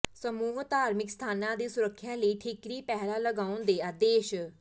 ਸਮੂਹ ਧਾਰਮਿਕ ਸਥਾਨਾਂ ਦੀ ਸੁਰੱਖਿਆ ਲਈ ਠੀਕਰੀ ਪਹਿਰਾ ਲਗਾਉਣ ਦੇ ਆਦੇਸ਼